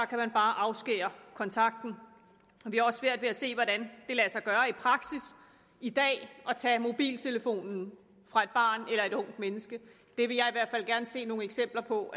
kan man bare afskære kontakten vi har også svært ved at se hvordan det lader sig gøre i praksis i dag at tage mobiltelefonen fra et barn eller et ungt menneske det vil jeg i hvert fald gerne se nogle eksempler på